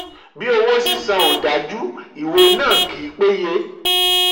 33. bí owó sísan ò dájú ìwé náà kì í péye.